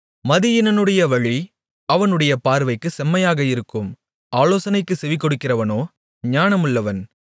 மதியீனனுடைய வழி அவனுடைய பார்வைக்குச் செம்மையாக இருக்கும் ஆலோசனைக்குச் செவிகொடுக்கிறவனோ ஞானமுள்ளவன்